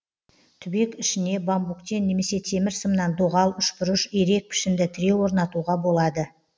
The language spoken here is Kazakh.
түбек ішіне бамбуктен немесе темір сымнан доғал үшбұрыш ирек пішінді тіреу орнатуға болады